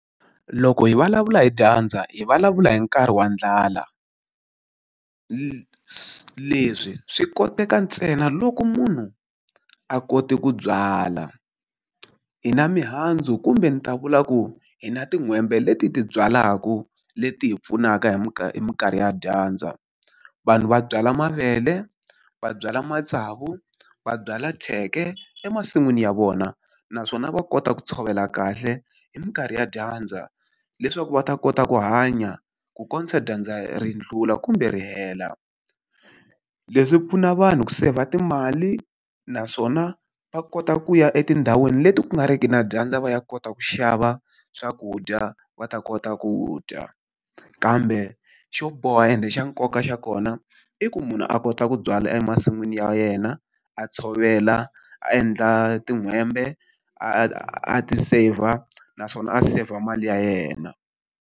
Loko hi vulavula hi dyandza hi vulavula hi nkarhi wa ndlala. leswi swi koteka ntsena loko munhu a kote ku byala. Hi na mihandzu kumbe ni ta vula ku hi na tin'hwembe leti hi ti byalaku leti hi pfunaka hi hi minkarhi ya dyandza. Vanhu va byala mavele, va byala matsavu, va byalwa thyeke emasin'wini ya vona naswona va kota ku tshovela kahle hi minkarhi ya dyandza, leswaku va ta kota ku hanya ku kombisa dyandza ri ndlula kumbe ri hela. Leswi pfuna vanhu ku seyivha timali, naswona va kota ku ya etindhawini leti ku nga ri ki na dyandza va ya kota ku xava swakudya va ta kota ku dya. Kambe xo boha ende xa nkoka xa kona i ku munhu a kota ku byala emasin'wini ya yena, a tshovela, a endla tin'hwembe, a ti seyivha naswona a seyivha mali ya yena.